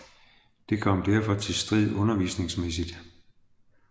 Det kom derfor til strid undervisningsmæssigt